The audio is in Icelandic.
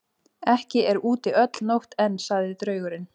Ekki er úti öll nótt enn, sagði draugurinn.